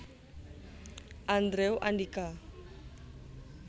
Andrew Andika